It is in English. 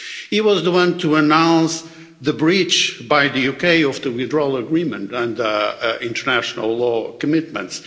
He was the one to announce the breach by the UK of the withdrawal agreement and international law commitments.